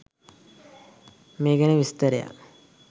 මේ ගැන විස්තරයක්